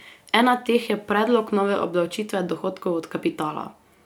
Ena teh je predlog nove obdavčitve dohodkov od kapitala.